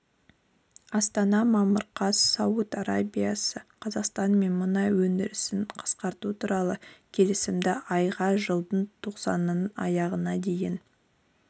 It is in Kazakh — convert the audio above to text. астана мамыр қаз сауд арабиясы қазақстанмен мұнай өндірісін қысқарту туралы келісімді айға жылдың тоқсанының аяғына дейін